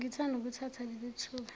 ngithanda ukuthatha lelithuba